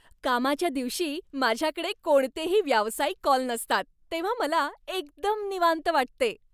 कामाच्या दिवशी माझ्याकडे कोणतेही व्यावसायिक कॉल नसतात तेव्हा मला एकदम निवांत वाटते.